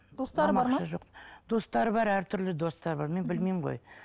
достары бар ма достары бар әртүрлі достары бар мен білмеймін ғой